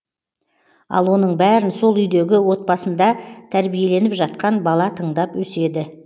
ал оның бәрін сол үйдегі отбасында тәрбиеленіватқан бала тыңдап өседі